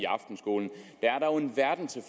aftenskole der er dog en verden til